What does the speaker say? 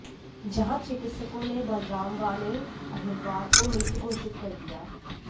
जहां चिकित्सकों ने बलराम व अनिल अहिरवार को मृत घोषित कर दिया